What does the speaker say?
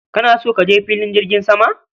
Kana so kaje fillin jirgin sama?